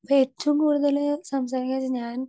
speaker 2 അപ്പോ ഏറ്റവും കൂടുതല് സംസാരിക്കണത് ഞാൻ